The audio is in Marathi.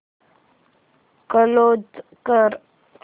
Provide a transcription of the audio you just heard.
क्लोज कर